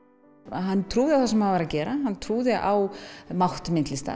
hann trúði á það sem hann var að gera hann trúði á mátt myndlistar